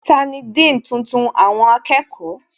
Tani Dean tuntun àwọn akẹ́kọ̀ọ́?